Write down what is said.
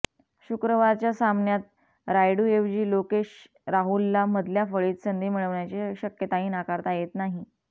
शुक्रवारच्या सामन्यात रायुडूऐवजी लोकेश राहुलला मधल्या फळीत संधी मिळण्याची शक्यताही नाकारता येत नाही